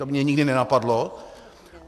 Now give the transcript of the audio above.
To mě nikdy nenapadlo.